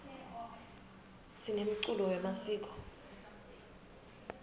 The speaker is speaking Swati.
sinemculo wemasiko